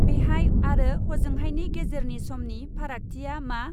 बेहाय आरो हजोंहायनि गेजेरनि समनि फारागथिया मा?